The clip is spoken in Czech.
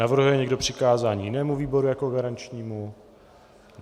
Navrhuje někdo přikázání jinému výboru jako garančnímu?